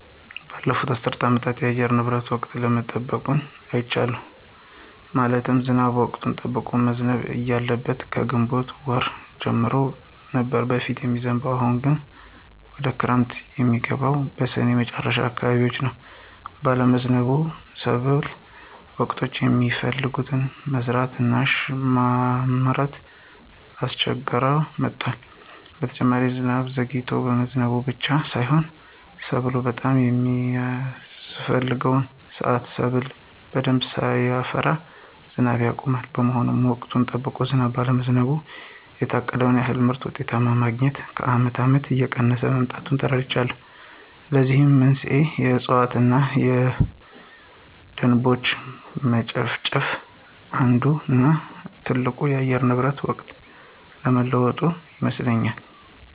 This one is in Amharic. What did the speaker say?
ባለፉት አስር አመታት የአየር ንብረቱ ወቅቱን አለመጠበቁን አይቻለሁ። ማለትም ዝናቡ ወቅቱን ጠብቆ መዝነብ እያለበት ከግንቦት ወር ጀምሮ ነበር በፊት የሚዝንብ አሁን ደግሞ ዝናቡ ወይም ክረምቱ የሚገባው በስኔ መጨረሻ አካባቢዎች ነው ባለመዝነቡ ሰብሎ በወቅቱ የሚፈለገውን መዝራት እና ማልማት እያስቸገረ መጥቷል። በተጨማሪ ዝናቡ ዘግይቶ መግባቱ ብቻ ሳይሆን ሰብሉ በጣም በሚያስፍሕገው ስአት ሰብሉ በደንብ ሳያፈራ ዝናቡ ያቆማል። በመሆኑም ወቅቱን ጠብቆ ዝናብ ባለመጣሉ የታቀደውን ያክል ምርትና ውጤት ማግኞት ከአመት አመታት እየቀነሰ መምጣቱን ተረድቻለሁ። ለዚህም መንስኤው የእፅዋት እነ የደኖች መጨፍጨፍ አንዱ እነ ትልቁ ለአየር ንብረት ወቅቱን አለመጠበቅ ይመስለኞል።